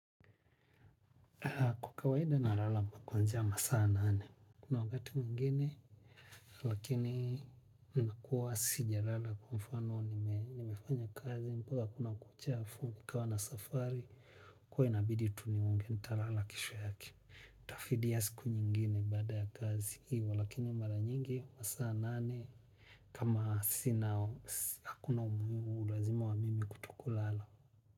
Kawaida nalala kuanzia masaa nane. Kuna wakati mwingine lakini nakuwa sija lala kwa mfano nimefanya kazi mpaka kuna kucha fu nikawa na safari kwa inabidi tuni unge nitalala kesho yake. Tafidia siku nyingine baada ya kazi hivo lakini mara nyingi masaa nane kama sina hakuna umuhimu uazima wa mimi kuto kulala.